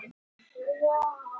Maggý, lækkaðu í hátalaranum.